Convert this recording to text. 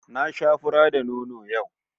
Na sha fura da nono yau